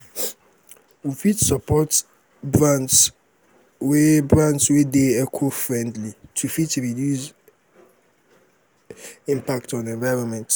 we fit support um brands wey brands wey dey eco-friendly to fit reduce um impact on environment